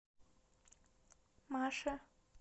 маше